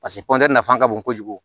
Paseke nafa ka bon kojugu